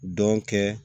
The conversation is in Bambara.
Dɔn kɛ